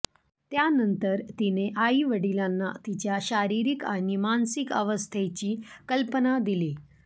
त्यानंतर तिने आईवडिलांना तिच्या शारीरिक आणि मानसिक अवस्थेची कल्पना दिली